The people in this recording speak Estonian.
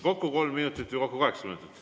Kokku kolm minutit või kokku kaheksa minutit?